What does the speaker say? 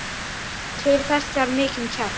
Til þess þarf mikinn kjark.